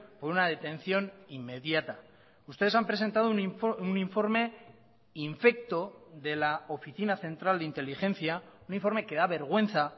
por una detención inmediata ustedes han presentado un informe infecto de la oficina central de inteligencia un informe que da vergüenza